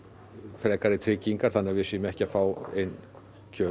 frekari tryggingar þannig við séum ekki að fá inn kjöt